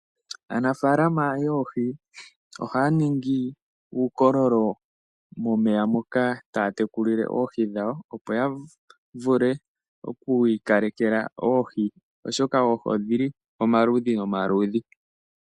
Aanafalama yoohi ohaya ningi uukololo momeya moka taa tekulile oohi dhawo opo yavule okwii kalekela oohi, oshoka oohi odhili omaludhi nomaludhi.